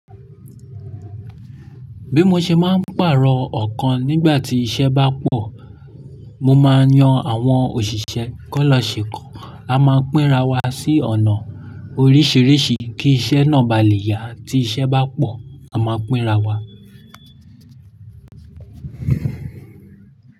Bí mo ṣe máa ń pàrọ̀ ọkàn nígbà tí iṣẹ́ bá pọ̀, mo máa yan àwọn òṣìṣẹ́ kó lọ ṣekan A máa pínra wa sí ọ̀nà oríṣiríṣi kí iṣẹ́ náà ba lè yá. Tí iṣẹ́ bá pọ̀, a máa pínra wa.